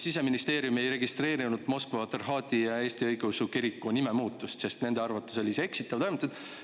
Siseministeerium ei registreerinud Moskva Patriarhaadi Eesti Õigeusu Kiriku nimemuutust, sest nende arvates oli see eksitav.